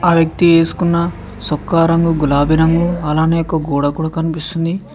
ఆ వ్యక్తి ఏసుకున్న సొక్కా రంగు గులాబి రంగు అలానే ఒక గోడ కూడ కనిపిస్తుంది.